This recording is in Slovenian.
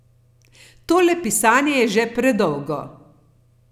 Tole pisanje je že predolgo.